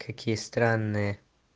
какие странные